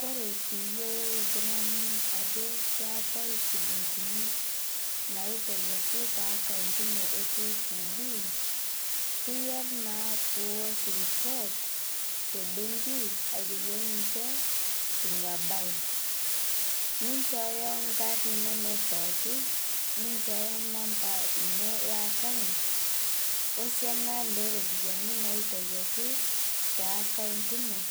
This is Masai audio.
Kore piiyolou ltung'ani ajo keatai shilingini naitayaki te account inoo e kcb, keyari naapiwosh report te bengi aiteyolo ninshe inia bai ninshooyo nkarn inonoo pooki, ninshooyo nampaa inoo e account osianaa leropiyani naitayakii te account inoo,